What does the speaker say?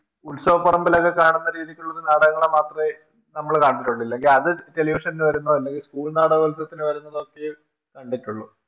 ഉത്സവപ്പറമ്പിലൊക്കെ കാണുന്ന രീതിക്കുള്ളൊരു നാടകങ്ങള് മാത്രേ നമ്മള് കണ്ടിട്ടുള്ളു ഇല്ലെങ്കി അത് Television വരുമ്പോ അല്ലെങ്കി School നാടകോത്സവത്തിന് വരുമ്പോ മാത്രേ കണ്ടിട്ടുള്ളു